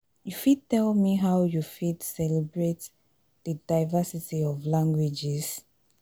you fit tell me how you fit celebrate di diversity of languages?